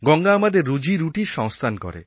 গঙ্গা আমাদের রুজিরুটির সংস্থান করে